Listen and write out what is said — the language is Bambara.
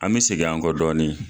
An be segin an kɔ dɔɔnin